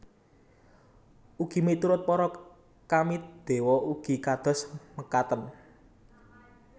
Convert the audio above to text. Ugi miturut para Kami dewa ugi kados mekaten